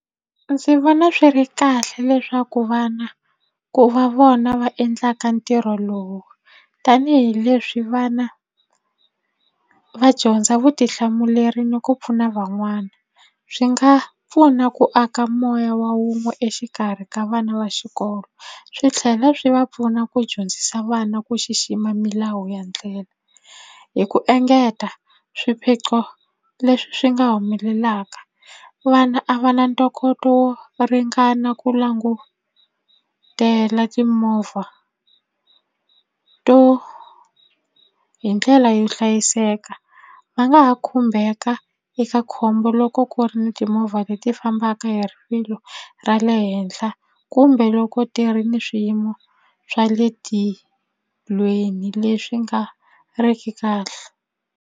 Ndzi vona swi ri kahle leswaku vana ku va vona va endlaka ntirho lowu tanihileswi vana va dyondza vutihlamuleri ni ku pfuna van'wana swi nga pfuna ku aka moya wa wun'we exikarhi ka vana va xikolo swi tlhela swi va pfuna ku dyondzisa vana ku xixima milawu ya ndlela hi ku engeta swiphiqo leswi swi nga humelelaka vana a va na ntokoto wo ringana ku langutela timovha to hi ndlela yo hlayiseka va nga ha khumbeka eka khombo loko ku ri ni timovha leti fambaka hi rivilo ra le henhla kumbe loko ti ri ni swiyimo swa le tilweni leswi nga riki kahle.